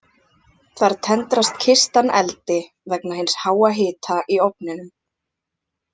Þar tendrast kistan eldi vegna hins háa hita í ofninum.